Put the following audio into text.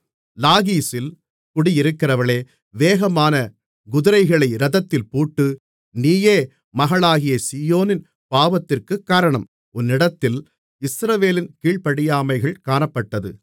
லாகீசில் குடியிருக்கிறவளே வேகமான குதிரைகளை இரதத்திலே பூட்டு நீயே மகளாகிய சீயோனின் பாவத்திற்குக் காரணம் உன்னிடத்தில் இஸ்ரவேலின் கீழ்ப்படியாமைகள் காணப்பட்டது